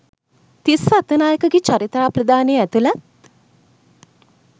තිස්ස අත්තනායකගේ චරිතාප්‍රදානය ඇතුලත්